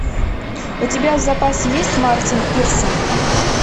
у тебя в запасе есть мартин пирсон